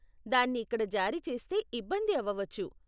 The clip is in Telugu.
దాన్ని ఇక్కడ జారీ చేస్తే ఇబ్బంది అవవచ్చు.